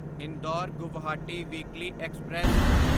Indore Guwahati weekly express